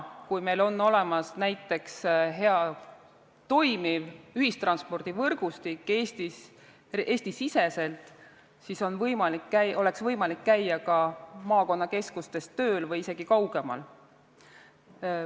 Kui meil oleks olemas näiteks hea, toimiv ühistranspordivõrgustik Eesti-siseselt, siis oleks võimalik käia tööl ka maakonnakeskustes või isegi kaugemal.